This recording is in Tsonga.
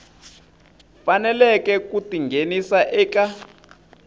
faneleke ku ti nghenisa eka